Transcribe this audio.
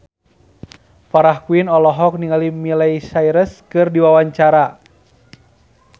Farah Quinn olohok ningali Miley Cyrus keur diwawancara